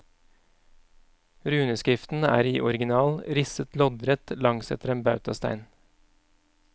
Runeskriften er i orginal risset loddrett langsetter en bautastein.